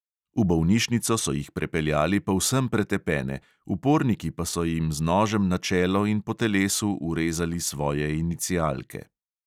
V bolnišnico so jih prepeljali povsem pretepene, uporniki pa so jim z nožem na čelo in po telesu vrezali svoje inicialke.